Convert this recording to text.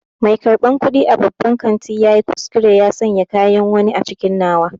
Mai karɓan kuɗi a babban kantin ya yi kuskure ya sanya kayan wani a cikin nawa.